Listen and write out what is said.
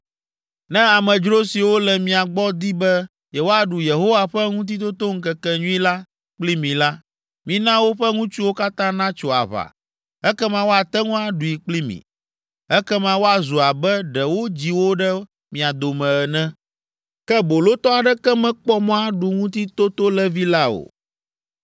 “Ne amedzro siwo le mia gbɔ di be yewoaɖu Yehowa ƒe Ŋutitotoŋkekenyui la kpli mi la, mina woƒe ŋutsuwo katã natso aʋa, ekema woate ŋu aɖui kpli mi. Ekema woazu abe ɖe wodzi wo ɖe mia dome ene. Ke bolotɔ aɖeke mekpɔ mɔ aɖu ŋutitotolẽvi la o.